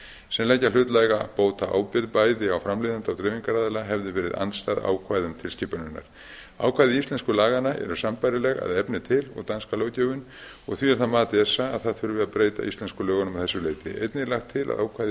sem leggja hlutlæga bótaábyrgð bæði á framleiðanda og dreifingaraðila hefðu verið andstæð ákvæðum tilskipunarinnar ákvæði íslensku laganna eru sambærileg að efni til danska löggjöfin og því er það mat esa að það þurfi að breyta íslensku lögunum að þessu leyti einnig er lagt til að ákvæði b